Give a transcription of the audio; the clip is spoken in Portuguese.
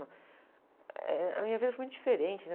Eh.. A minha vida foi muito diferente, né?